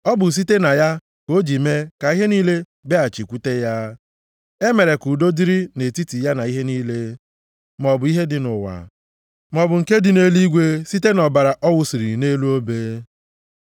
Ọ bụ site na ya ka o ji mee ka ihe niile bịaghachikwute ya. E mere ka udo dịrị nʼetiti ya na ihe niile, maọbụ ihe dị nʼụwa, maọbụ nke dị na nʼeluigwe site na ọbara ọ wụsiri nʼelu obe.